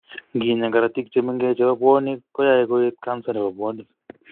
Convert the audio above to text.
Nginya korotik chemengech chebo bwonik koyoe koet kansa nebo bwonik